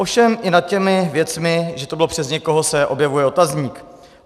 Ovšem i nad těmi věcmi, že to bylo přes někoho, se objevuje otazník.